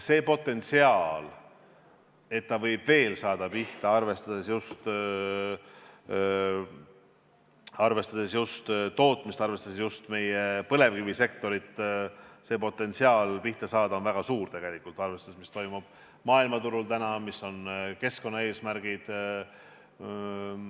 See potentsiaal, et ta võib veel pihta saada, arvestades just tootmist, arvestades just põlevkivisektorit, on väga suur, arvestades ka seda, mis toimub maailmaturul täna ja mis on keskkonnaeesmärgid.